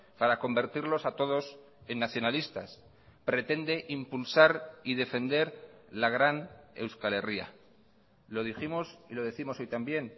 para convertirlos a todos en nacionalistas pretende impulsar y defender la gran euskal herria lo dijimos y lo décimos hoy también